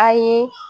A ye